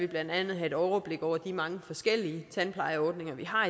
blandt andet have et overblik over de mange forskellige tandplejeordninger vi har